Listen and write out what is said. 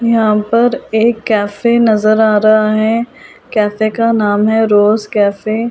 यहां पर एक कैफे नजर आ रहा है कैफे का नाम है रोज कैफे ।